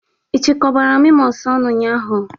Ị chịkọbara memos ọnụ ụnyaahụ?